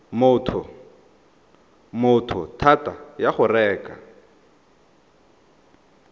motho thata ya go reka